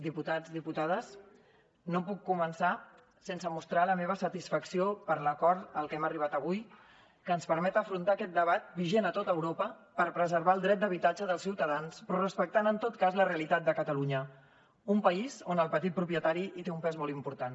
diputats diputades no puc començar sense mostrar la meva satisfacció per l’acord al que hem arribat avui que ens permet afrontar aquest debat vigent a tot europa per preservar el dret d’habitatge dels ciutadans però respectant en tot cas la realitat de catalunya un país on el petit propietari té un pes molt important